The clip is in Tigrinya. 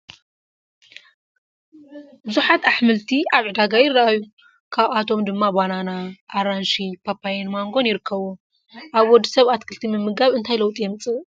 ብዙሓት ኣሕምልት ኣብ ዕዳጋ ይራኣዩ፡፡ ካብኣቶም ድማ ባናና ፣ ኣራንሺ ፣ፓፓየን ማንጎን ይርከብዎም፡፡ ኣብ ወዲ ሰብ ኣትክልቲ ምምጋብ እንታይ ለውጢ የምፅእ?